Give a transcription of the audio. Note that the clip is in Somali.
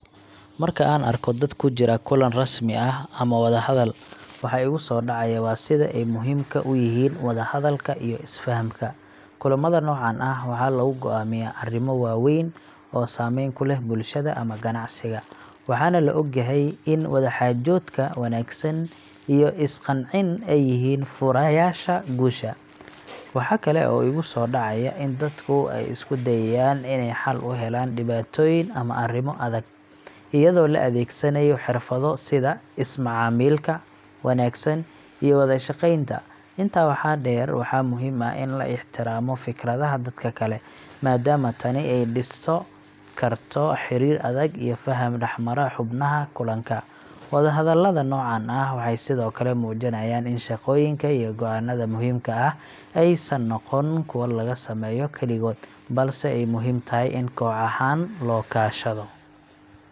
Marka aan arko dad ku jira kulan rasmi ah ama wadahadal, waxa igu soo dhacaya waa sida ay muhiimka u yihiin wada-hadalka iyo is-fahamka. Kulammada noocan ah waxaa lagu go’aamiyaa arrimo waaweyn oo saameyn ku leh bulshada ama ganacsiga. Waxaana la ogyahay in wadaxaajoodka wanaagsan iyo is-qancin ay yihiin furayaasha guusha. Waxa kale oo igu soo dhacaya in dadku ay isku dayayaan inay xal u helaan dhibaatooyin ama arrimo adag, iyadoo la adeegsanayo xirfado sida is-macaamilka wanaagsan iyo wada shaqeynta. Intaa waxaa dheer, waxaa muhiim ah in la ixtiraamo fikradaha dadka kale, maadaama tani ay dhisi karto xiriir adag iyo faham dhexmara xubnaha kulanka. Wadahadalada noocan ah waxay sidoo kale muujinayaan in shaqooyinka iyo go'aanada muhiimka ah aysan noqon kuwo lagu sameeyo kaligood, balse ay muhiim tahay in koox ahaan loo kaashado